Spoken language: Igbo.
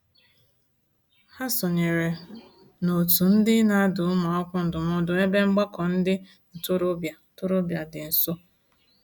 Ha sonyeere n'òtù ndị na-adụ ụmụakwụkwọ ndụmọdụ n'ebe mgbakọ ndị ntorobịa ntorobịa dị nso.